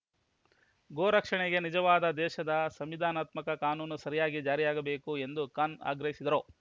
ಗೋ ರಕ್ಷಣೆಗೆ ನಿಜವಾದ ದೇಶದ ಸಂವಿಧಾನಾತ್ಮಕ ಕಾನೂನು ಸರಿಯಾಗಿ ಜಾರಿಯಾಗಬೇಕು ಎಂದು ಖಾನ್‌ ಆಗ್ರಹಿಸಿದರು